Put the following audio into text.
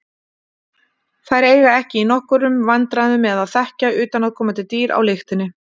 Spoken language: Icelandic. Þær eiga ekki í nokkrum vandræðum með að þekkja utanaðkomandi dýr á lyktinni.